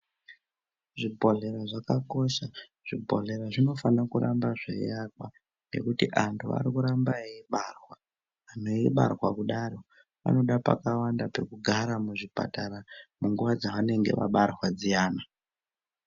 Zvibhehleya zvakakosha Zvibhehleya zvinofana kuramba zvevakwa nekuti andu ari kuramba eibarwa eibarwa kudaro vanoda pakawanda pekugara muzvipatara munguwa dzevanenge vabarwa dziyani.